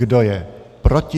Kdo je proti?